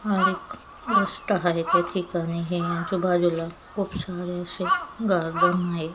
हा एक रस्ता आहे त्या ठिकाणी है आजूबाजूला खूप सारे अशे गार्डन आहे.